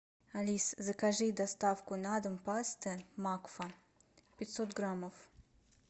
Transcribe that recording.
алиса закажи доставку на дом пасты макфа пятьсот граммов